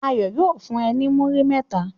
Ayo yóò fun e ni muri mẹta